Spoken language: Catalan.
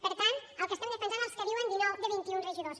per tant el que estem defensant és el que diuen dinou de vint i un regidors